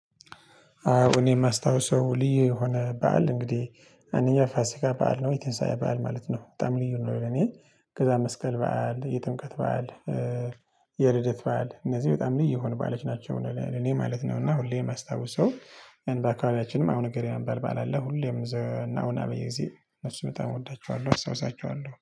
እኔ የማስታውሰው ልዩ የሆነ በዓል እንግዲህ አንደኛ ፋሲካ በዓል ነው የተንሳያ በዓል ማለት ነው በጣም ልዩ ነው። ለኔ ከዛ መስቀል በዓል የጥምቀት በዓል። የልደት በዓል እነዚህ በጣም ልዩ የሆኑ ልዩ ባሎች ናቸው እኔ ማለት ነው። እና ሁሌም የማስታውሰው በአካባቢያችንም አቡነ ንገሪና እሚባል በዓል አለ። ሁሌም በየጊዜ እንደዚህ በጣም እወዳቸዋለሁ አስታውሳቸዋለሁ